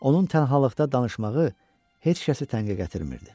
Onun tənhalıqda danışmağı heç kəsi tənqi gətirmirdi.